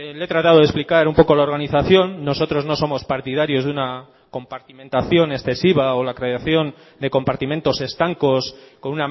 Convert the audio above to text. le he tratado de explicar un poco la organización nosotros no somos partidarios de una compartimentación excesiva o la creación de compartimentos estancos con